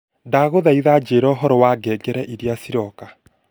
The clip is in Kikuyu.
ndaguthaitha njira uhoro wa ngengere iria iroka